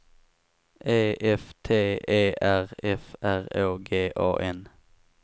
E F T E R F R Å G A N